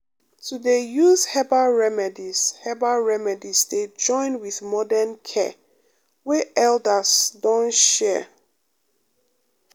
to dey use herbal remedies herbal remedies dey join with modern care wey elders don share pause pause